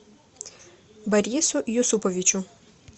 борису юсуповичу